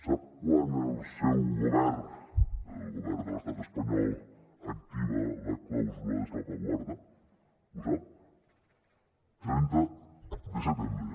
sap quan el seu govern el govern de l’estat espanyol activa la clàusula de salvaguarda ho sap el trenta de setembre